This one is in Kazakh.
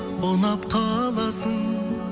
ұнап қаласың